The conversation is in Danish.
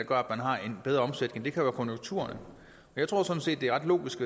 gør at man har en bedre omsætning det kan være konjunkturerne jeg tror sådan set det er ret logisk